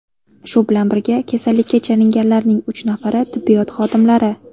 Shu bilan birga, kasallikka chalinganlarning uch nafari tibbiyot xodimlari.